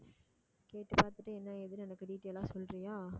பாத்துட்டு என்ன ஏதுன்னு எனக்கு detail ஆ சொல்றியா